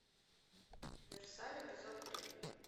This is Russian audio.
версаль эпизод три